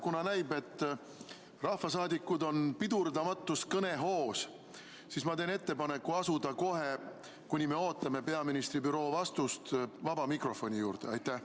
Kuna näib, et rahvasaadikud on pidurdamatus kõnehoos, siis ma teen ettepaneku asuda praegu, kuni me ootame peaministri büroo vastust, vaba mikrofoni vooru juurde.